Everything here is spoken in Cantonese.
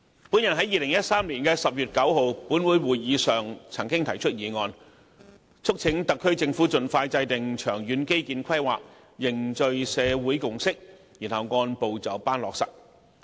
本人在2013年10月9日立法會會議上曾經提出議案，促請特區政府盡快制訂長遠基建規劃，凝聚社會共識，然後按部就班落實。